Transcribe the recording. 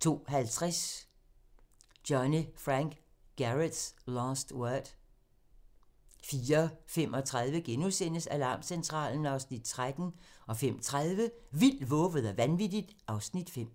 02:50: Johnny Frank Garrett's Last Word 04:35: Alarmcentralen (Afs. 13)* 05:30: Vildt, vovet og vanvittigt (Afs. 5)